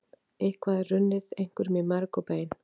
Eitthvað er runnið einhverjum í merg og bein